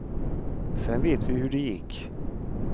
Sen vet vi hur det gick.